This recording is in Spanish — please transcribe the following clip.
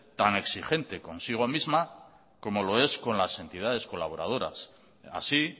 tan exigente consigo misma como lo es con las entidades colaboradoras así